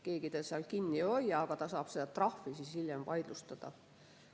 Keegi teda seal kinni ei hoia, ta saab trahvi hiljem vaidlustada.